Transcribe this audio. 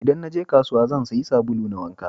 Idan naje kasuwa, zan siya sabulu na wanka